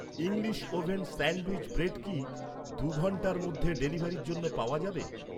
English oven sandwich bread কি, দুই ঘন্টার মধ্যে ডেলিভারির জন্য পাওয়া যাবে?